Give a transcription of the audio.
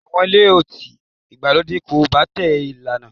Àwọn ilé-ọtí ìgbàlódé kò pàtẹ lánàá